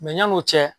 Mɛ yan'o cɛ